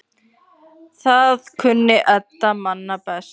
Það kunni Edda manna best.